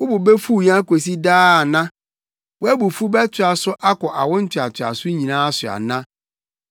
Wo bo befuw yɛn akosi daa ana? Wʼabufuw bɛtoa so akɔ awo ntoantoaso nyinaa so ana?